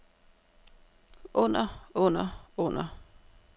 under under under